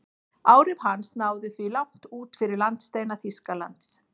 Áhrif hans náðu því langt út fyrir landsteina Þýskalands.